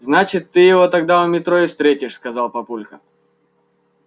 значит ты его тогда у метро и встретишь сказал папулька